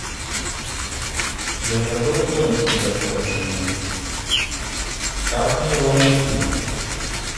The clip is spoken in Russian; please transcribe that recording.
я забыл зонтик на ресепшене как мне его найти